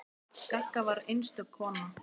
Gagga var einstök kona.